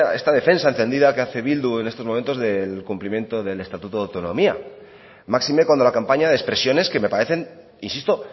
que esta defensa encendida que hace bildu en estos momentos del cumplimiento del estatuto de autonomía máxime cuando la campaña de expresiones que me parecen insisto